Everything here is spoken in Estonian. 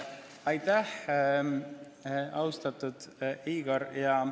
Aitäh, austatud Igor!